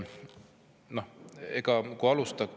Väga hea küsimus.